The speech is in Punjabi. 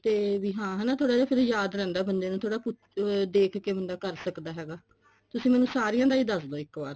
ਤੇ ਹਾਂ ਹਨਾ ਵੀ ਥੋੜਾ ਜਾ ਫੇਰ ਯਾਦ ਰਹਿੰਦਾ ਬੰਦੇ ਨੂੰ ਥੋੜਾ ਦੇਖ ਕੇ ਬੰਦਾ ਕਰ ਸਕਦਾ ਹੈਗਾ ਤੁਸੀਂ ਮੈਨੂੰ ਸਾਰਿਆਂ ਦਾ ਹੀ ਦੱਸਦੋ ਇੱਕ ਵਾਰ